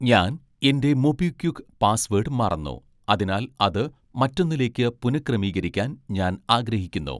ഞാൻ എൻ്റെ മൊബിക്വിക്ക് പാസ്സ്‌വേഡ് മറന്നു അതിനാൽ അത് മറ്റൊന്നിലേക്ക് പുനഃക്രമീകരിക്കാൻ ഞാൻ ആഗ്രഹിക്കുന്നു